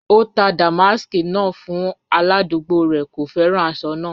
O tà dàmàsk náà fún aládùgbò rẹ, kò fẹ́ran àṣọ náà.